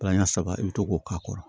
Palan ɲɛ saba i bɛ to k'o k'a kɔrɔ